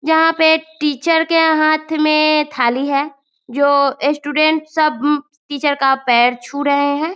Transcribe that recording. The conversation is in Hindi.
यहाँ पे टीचर के हाथ में एए थाली है जो स्टूडेंट सब टीचर का पैर छु रहे हैं |